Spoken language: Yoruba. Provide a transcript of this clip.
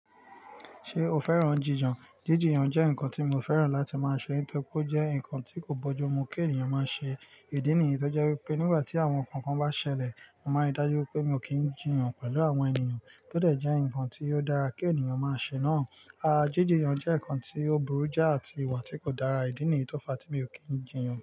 Ṣé o fẹ́ràn jiyàn? Jíjiyàn jẹ́ nǹkan tí mi ò fẹ́ràn láti máa ṣe nítorí pé ó jẹ́ nǹkan tí kò bọ́jù mú kí ènìyàn máa ṣe. Ìdí nìyí tó jẹ́ pé nígbà tí àwọn nnkan kan bá ṣẹlẹ̀, mo máa ń ri dájú pé mi ò kí ń jìyàn pẹ̀lú àwọn ènìyàn. Kí ó dẹ̀ jẹ́ nǹkan tí ó dára kí ènìyàn máa ṣe náà. Jíjiyàn jẹ́ nǹkan tí ó burú jáà àti ìwà tí kò dára. Ìdí nìyí tó fa tí mi ò kí ń jìyàn.